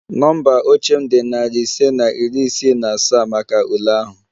Nọmba oche m dị narị ise na iri isii na asaa maka ule ahụ